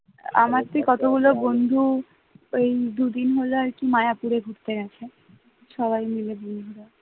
আমার কতগুলো বন্ধু ওই দুদিন হলো আরকি মায়াপুরে ঘুরতে গেছে সবাই মিলে বন্ধুরা